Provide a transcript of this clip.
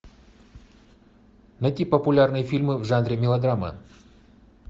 найти популярные фильмы в жанре мелодрама